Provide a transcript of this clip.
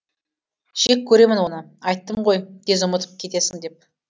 жек көремін оны айттым ғой тез ұмытып кетесің деп